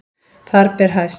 Þar ber hæst